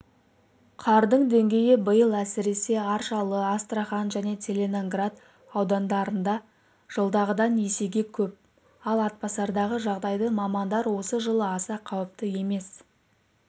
қардың деңгейі биыл әсіресе аршалы астрахан және целиноград аудандарында жылдағыдан есеге көп ал атбасардағы жағдайды мамандар осы жылы аса қауіпті емес